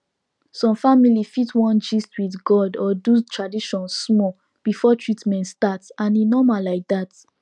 some family fit wan gist with god or do tradition small before treatment start and e normal like that